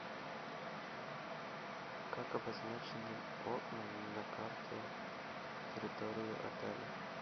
как обозначены окна на карте территории отеля